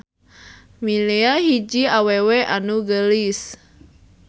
Milea hiji awewe anu geulis.